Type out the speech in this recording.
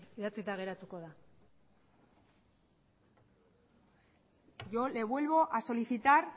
idatzita geratuko da yo le vuelvo a solicitar